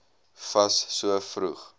fas so vroeg